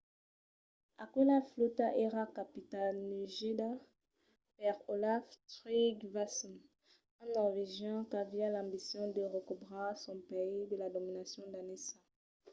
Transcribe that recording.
aquela flòta èra capitanejada per olaf trygvasson un norvegian qu’aviá l’ambicion de recobrar son país de la dominacion danesa